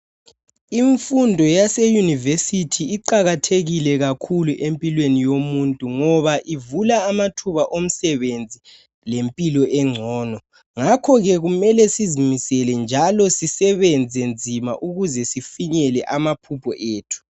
Imfundo yase University iqakathekile kakhulu empilweni yomuntu ngoba ivula amathuba omsebenzi lempilo engcono, ngakhoke kumele sizimisele njalo sisebenze nzima ukuze sifikele amaphupho ethu.